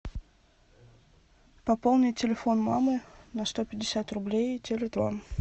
пополни телефон мамы на сто пятьдесят рублей теле два